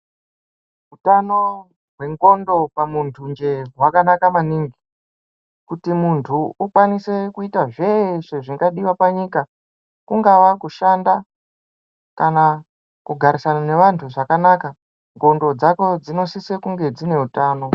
Utano hwendxondo pamunthu njee hwakanaka maningi kuti munthu ukwanise kuita zveshe zvingadiwa panyika kungava kushanda kana kugarisana nevanthu zvakanaka ndxondo dzako dzinosise kunge dzine utano.